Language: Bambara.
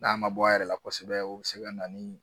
N'a ma bɔ a yɛrɛ la kosɛbɛ o bɛ se ka na ni